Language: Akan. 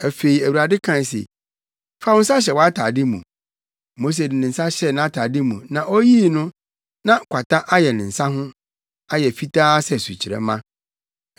Afei, Awurade kae se, “Fa wo nsa hyɛ wʼatade mu.” Mose de ne nsa hyɛɛ nʼatade mu, na oyii no, na kwata ayɛ ne nsa ho; ayɛ fitaa sɛ sukyerɛmma.